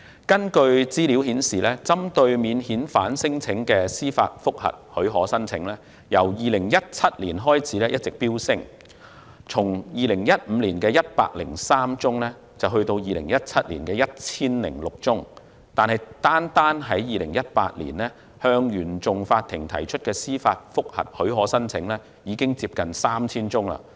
根據資料顯示，針對免遣返聲請的司法覆核許可申請，由2017年開始一直飆升，從2015年103宗增至2017年的 1,006 宗，但單是2018年，向原訟法庭提出的司法覆核許可申請已接近 3,000 宗。